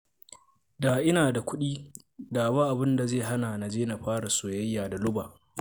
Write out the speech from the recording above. Da ina da kuɗi, da ba abin da zai hana na je na fara soyayya da Luba